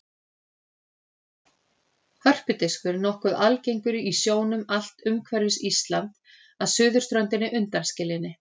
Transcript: Hörpudiskur er nokkuð algengur í sjónum allt umhverfis Ísland að suðurströndinni undanskilinni.